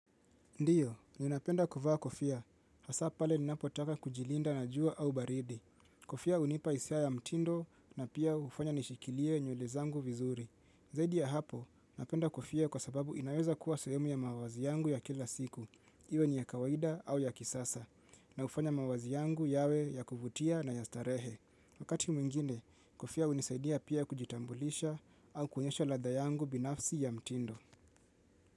Ndiyo, ninapenda kuvaa kofia. Hasa pale ni napotaka kujilinda na jua au baridi. Kofia unipa isia ya mtindo na pia ufanya nishikilie nyulezangu vizuri. Zaidi ya hapo, napenda kofia kwa sababu inaweza kuwa sehemu ya mawazi yangu ya kila siku, iwe ni ya kawaida au ya kisasa, na ufanya mawazi yangu yawe ya kuvutia na ya starehe. Wakati mwingine, kofia unisaidia pia kujitambulisha au kuonyesha ladha yangu binafsi ya mtindo.